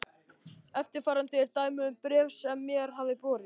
Eftirfarandi er dæmi um bréf sem mér hafa borist